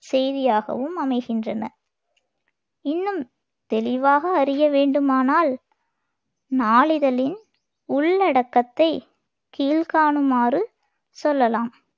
செய்தியாகவும் அமைகின்றன இன்னும் தெளிவாக அறிய வேண்டுமானால் நாளிதழின் உள்ளடக்கத்தைக் கீழ்க்காணுமாறு சொல்லலாம்.